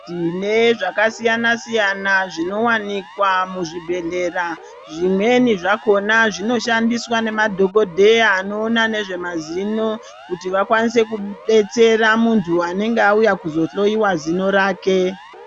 Tine zvakasiyana siyana zvinowanikwa muzvibhedhleya zvimweni zvakona zvinoshandiswa nemadhokodheya anoona nezvemazino kuti vakwanise kubetsera muntu anenge auya kuzohloyiwa zino rake .